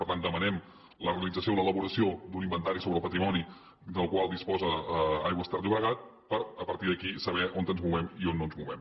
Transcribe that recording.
per tant demanem la realització l’elaboració d’un inventari sobre el patrimoni del qual disposa aigües ter llobregat per a partir d’aquí saber on ens movem i on no ens movem